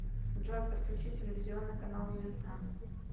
джой подключи телевизионный канал звезда